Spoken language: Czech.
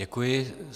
Děkuji.